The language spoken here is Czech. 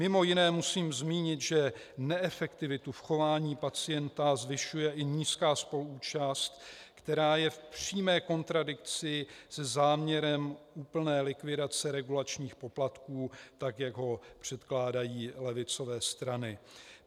Mimo jiné musím zmínit, že neefektivitu v chování pacienta zvyšuje i nízká spoluúčast, která je v přímé kontradikci se záměrem úplné likvidace regulačních poplatků, tak jak ho předkládají levicové strany.